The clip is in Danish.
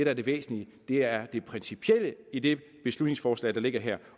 er det væsentlige er det principielle i det beslutningsforslag der ligger her